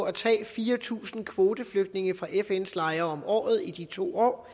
at tage fire tusind kvoteflygtninge fra fns lejre om året i de to år